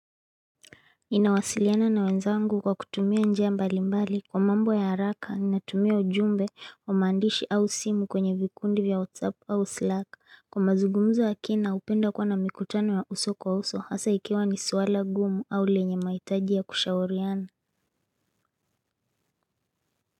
Ninawasiliana na wenzangu kwa kutumia njia mbalimbali kwa mambo ya haraka ninatumia ujumbe wa mandishi au simu kwenye vikundi vya whatsapp au slack kwa mazugumzo wa kina upenda kwa na mikutano ya uso kwa uso hasa ikiwa ni suala gumu au lenye maitaji ya kushauriana.